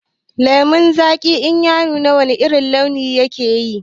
Lemon zaki in ya nuna wana irin launi yake yi?